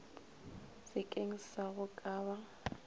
sekeng sa go ka ba